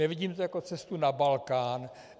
Nevidím to jako cestu na Balkán.